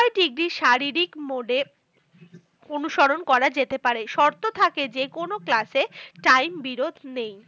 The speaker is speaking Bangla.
Degree শারীরিক mode এ অনুসরণ করা যেতে পারে। শর্ত থাকে যে, কোনো class এ time বিরোধ নেই।